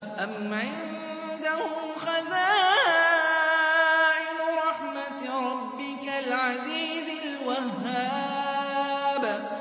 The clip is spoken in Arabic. أَمْ عِندَهُمْ خَزَائِنُ رَحْمَةِ رَبِّكَ الْعَزِيزِ الْوَهَّابِ